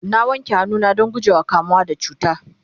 na wanke hannu na Dan gujewa kamuwa da cuta